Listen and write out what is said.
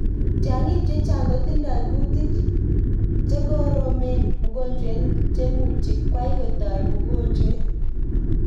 Tyang'ik chechang kotindoi kutik chegoromet mugojwet chemuji kwai kotai mugojwet.